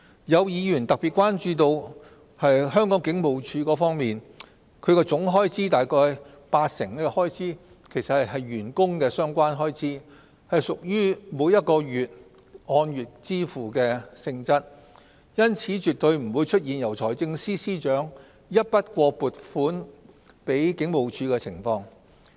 有議員特別關注到香港警務處，其總開支約八成是員工相關開支，屬於按月支付性質，因此絕對不會出現由財政司司長一筆過撥款給警務處的情況。